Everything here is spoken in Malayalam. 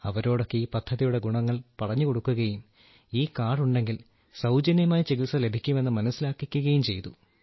അവരോടൊക്കെ ഈ പദ്ധതിയുടെ ഗുണങ്ങൾ പറഞ്ഞുകൊടുക്കുകയും ഈ കാർഡ് ഉണ്ടെങ്കിൽ സൌജന്യമായി ചികിത്സ ലഭിക്കുമെന്ന് മനസ്സിലാക്കിക്കുകയും ചെയ്തു